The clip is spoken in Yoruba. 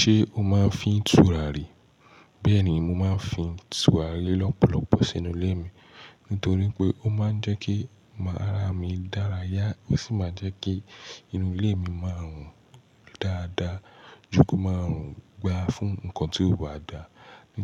Ṣé o máa ń fi tùrà rì? Bẹ́ẹ̀ ni, mo máa ń fi tùrà rì lọ́pọ̀lọpọ̀ sínú ilé mi. Nítorí pé ó máa ń jẹ́ kí ara mi dára yá, ó sì máa jẹ́ kí inú ilé mi máà rùn dáadáa, jù kí ó máa rùn gba fún nǹkan tí ó bà dáa.